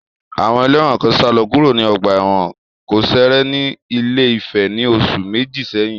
Àwọn ẹlẹ́wọ̀n kan sálọ kúrò ní ọgbà ẹ̀wọ̀n kòsẹ̀rẹ̀ ní Ilé-Ifẹ̀ ní oṣù méjì sẹ́yìn.